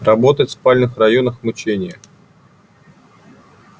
работать в спальных районах мучение